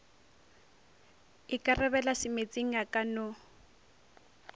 ikarabela semeetseng a ka no